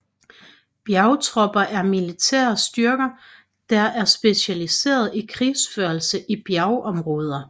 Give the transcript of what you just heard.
Bjergtropper er militære styrker der er specialiseret i krigsførelse i bjergområder